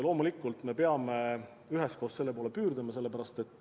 Loomulikult me peame üheskoos selle poole püüdlema.